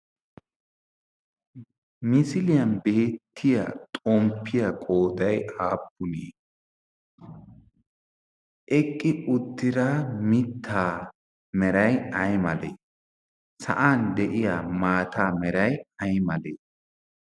misiliyan beettiya xomppiya qooday aappunee eqqi uttira mittaa meray aymalee sa'an de'iya maata meray aymalee